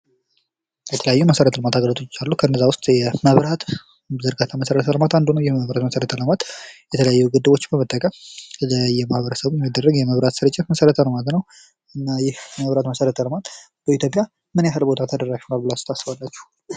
የተለያዩ የመሰረተ ልማት አገልግሎቶች አሉ። ከእነዛ ውስጥ የመብራት ዝርጋታ መሰረተ ልማት አንዱ ነው። የመብራት መሰረተ ልማት የተለያዩ ግድቦችን በመጠቀም ለማህበረሰቡ የሚደረግ ስርጭት መሰረተ ልማት ነው። እና ይህ የመንገድ መሰረተ ልማት በኢትዮጵያ ምን ያክል ቦታ ተደራሽ ነው ብላችሁ ታስባላችሁ?